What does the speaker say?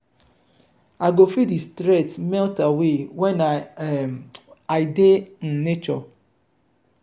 i go feel di stress melt away when um i dey in um nature.